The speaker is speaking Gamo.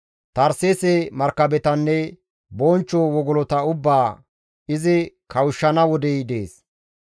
Tarseese markabetanne bonchcho wogolota ubbaa izi kawushshana wodey dees.